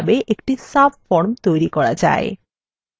একটি সাবফরম তৈরী করা যায়